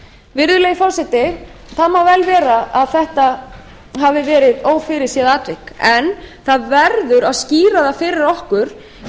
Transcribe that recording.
virðulegi forseti það má vel vera að þetta hafi verið ófyrirséð atvik en það verður að skýra það fyrir okkur